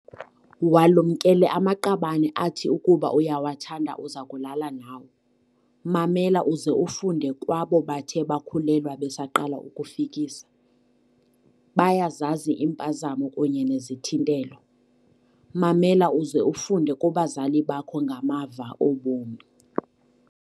Walumkele amaqabane athi ukuba uyawathanda uza kulala nawo. Mamela uze ufunde kwabo bathe bakhulelwa besaqala ukufikisa. Bayazazi iimpazamo kunye nezithintelo. Mamela uze ufunde kubazali bakho ngamava obomi.